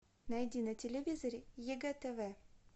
найди на телевизоре егэ тв